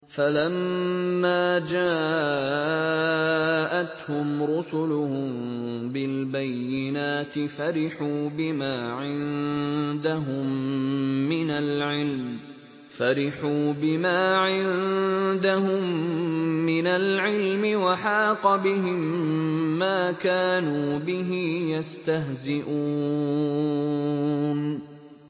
فَلَمَّا جَاءَتْهُمْ رُسُلُهُم بِالْبَيِّنَاتِ فَرِحُوا بِمَا عِندَهُم مِّنَ الْعِلْمِ وَحَاقَ بِهِم مَّا كَانُوا بِهِ يَسْتَهْزِئُونَ